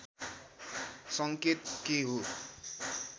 सङ्केत के हो